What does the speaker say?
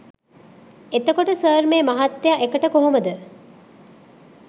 එතකොට සර් මේ මහත්තය එකට කොහොමද